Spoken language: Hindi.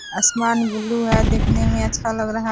असमान ब्लू है देखने में अच्छा लग रहा --